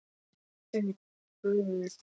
Hvar voru fallegu fjöllin, fossarnir og lækirnir?